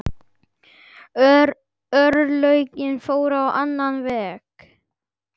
Örlögin fóru á annan veg.